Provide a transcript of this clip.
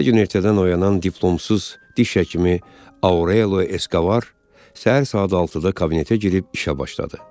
Hər gün ertədən oyanan diplomsuz diş həkimi Aurelio Eskobar, səhər saat 6-da kabinetə girib işə başladı.